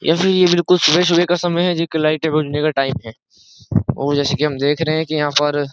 या फिर ये बिल्कुल सुबह सुबह का समय है जी लाइट भजने का टाइम है और जैसे कि हम देख रहे हैं कि यहाँ पर --